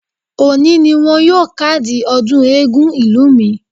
Òní ni wọn yóò kádìí ọdún eégún ìlú mi.